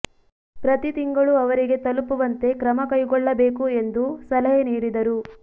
ಪ್ರತಿ ತಿಂಗಳು ಅವರಿಗೆ ತಲುಪುವಂತೆ ಕ್ರಮ ಕೈಗೊಳ್ಳಬೇಕು ಎಂದು ಸಲಹೆ ನೀಡಿದರು